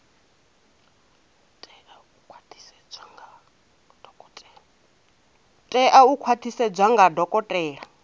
tea u khwaṱhisedzwa nga dokotela